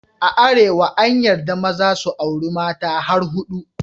A Arewa an yarda maza su auri mata har hudu.